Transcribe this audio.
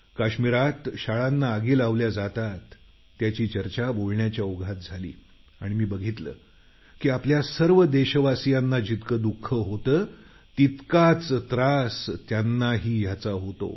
काश्मीरात शाळांना आगी लावल्या जातात त्याची चर्चा बोलण्याच्या ओघात झाली आणि मी बघितलं की आपल्या सर्व देशवासियांना जितकं दुख होतं तितकाच त्रास त्यांनाही याचा होतो